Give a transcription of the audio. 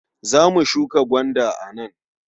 Za mu shuka gwanda a nan.